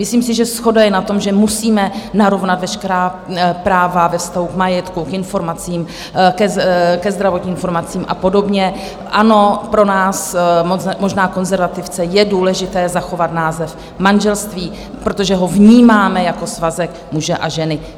Myslím si, že shoda je na tom, že musíme narovnat veškerá práva ve vztahu k majetku, k informacím, ke zdravotním informacím a podobně, ano, pro nás - možná konzervativce - je důležité zachovat název "manželství", protože ho vnímáme jako svazek muže a ženy.